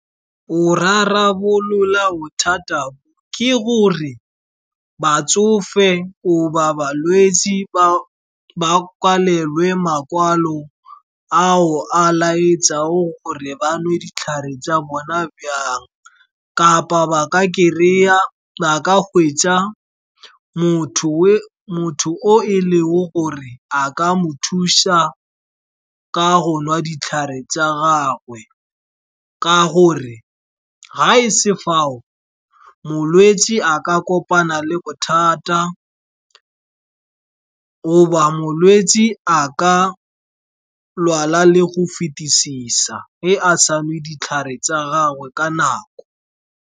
Go rarabolola bothata ke gore batsofe goba balwetse, ba kwalelwe makwalo ao a laetsang gore ba nwe ditlhare tsa bona , kapa ba ka gweetsa motho o e leng gore a ka mo thusa ka go nwa ditlhare tsa gagwe. Ka gore ga ese fao, molwetse a ka kopana le bothata goba molwetse a ka lwala le go fetisisa ge a sa nwe ditlhare tsa gagwe ka nako.